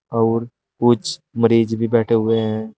और कुछ मरीज भी बैठे हुए हैं।